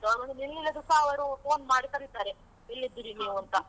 ಅವರು ಒಂದು ನಿಲ್ಲಿಲಾದ್ರು ಸ ಅವರು phone ಮಾಡಿ ಕರೀತಾರೆ, ಎಲ್ಲಿದ್ದೀರಿ ನೀವು ಅಂತ?